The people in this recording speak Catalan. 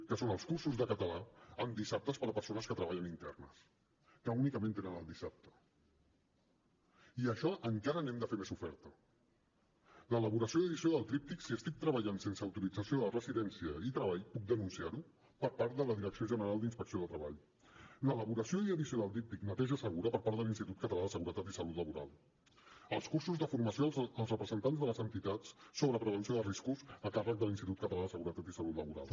que són els cursos de català en dissabtes per a persones que treballen internes que únicament tenen el dissabte i d’això encara n’hem de fer més oferta l’elaboració i edició del tríptic si estic treballant sense autorització de residència i treball puc denunciar ho per part de la direcció general d’inspecció de treball l’elaboració i edició del díptic neteja segura per part de l’institut català de seguretat i salut laboral els cursos de formació als representants de les entitats sobre prevenció de riscos a càrrec de l’institut català de seguretat i salut laboral